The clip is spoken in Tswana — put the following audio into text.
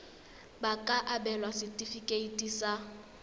ba ka abelwa setefikeiti sa